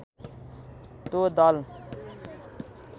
त्यो दल